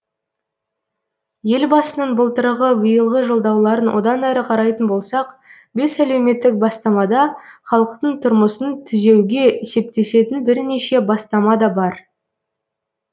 елбасының былтырғы биылғы жолдауларын одан әрі қарайтын болсақ бес әлеуметтік бастамада халықтың тұрмысын түзеуге септесетін бірнеше бастама да бар